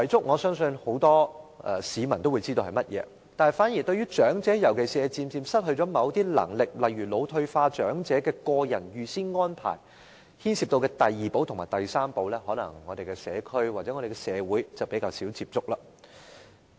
我相信很多市民也知道遺囑是甚麼，反而是有關長者，尤其是漸漸失去某些能力，例如腦退化長者的個人預先安排所牽涉的第二寶和第三寶，可能我們的社區或社會則較少接觸。